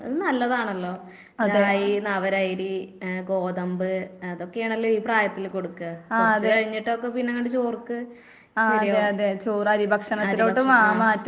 അത് നല്ലതാണല്ലോ. റായി, നവരയരി, ഏഹ് ഗോതമ്പ് അതൊക്കെയാണല്ലോ ഈ പ്രായത്തില് കൊടുക്കാ. കൊറച്ച് കഴിഞ്ഞിട്ടൊക്കെ പിന്നെ അങ്ങട് ചോർക്ക് ശരിയാവും, ആഹ് അരി ഭക്ഷണത്തിലേക്ക് ആഹ് ആഹ്